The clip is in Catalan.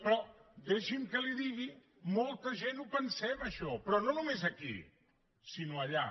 però deixi’m que li ho digui molta gent ho pensem això però no només aquí sinó allà